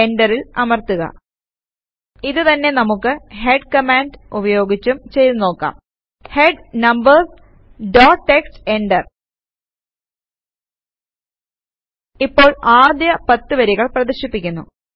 എന്ററിൽ അമർത്തുക ഇത് തന്നെ നമുക്ക് ഹെഡ് കമാൻഡ് ഉപയോഗിച്ചും ചെയ്തു നോക്കാം head numbers dot TXT enter ഇപ്പോൾ ആദ്യ 10 വരികൾ പ്രദർശിപ്പിക്കുന്നു